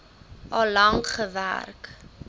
al lank gewerk